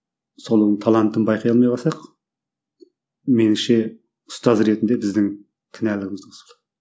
соның талантын байқай алмай қалсақ меніңше ұстаз ретінде біздің кінәліміз